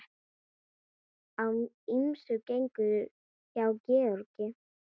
Á ýmsu gengur hjá Gerði.